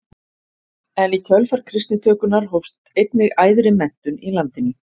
En í kjölfar kristnitökunnar hófst einnig æðri menntun í landinu.